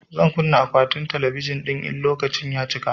Zan kunna akwatin talabijin ɗin idan lokaci ya cika